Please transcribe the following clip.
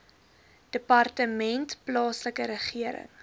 departement plaaslike regering